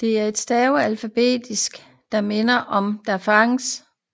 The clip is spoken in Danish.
Det er et stavelsesalfabet der minder om devanagari